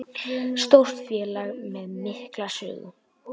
Stórt félag með mikla sögu